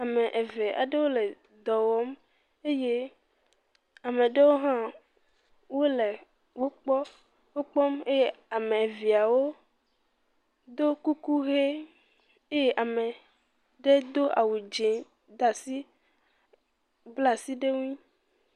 ame eve aɖewo le dɔwɔm eye ameɖewo hã wóle wó gbɔ wokpɔm eye ameviawo ɖó kuku ɣe ye ameɖe dó awu dze dasi blasi ɖe ŋui